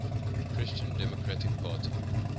christian democratic party